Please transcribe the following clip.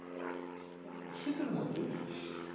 না সেতুর মতোই